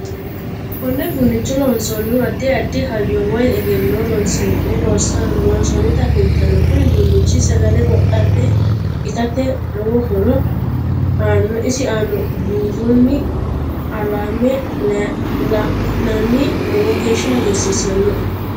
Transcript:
Konne uduunicho loonsoonihu addi addi hayyo woy egenno horoonsine loonsonita kultanno kuni uduunichi sagale wodhe itate lowo horo aanno isi aanna buurooni qalame la'ayanni lowo geesha hagiirsiisinoe